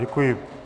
Děkuji.